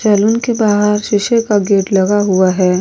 Salon के बाहर शीशे का गेट लगा हुआ है।